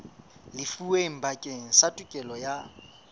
lefuweng bakeng sa tokelo ya